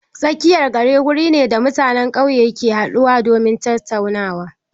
Tsakiyar gari wuri ne da mutanen ƙauye ke haɗuwa domin tattaunawa.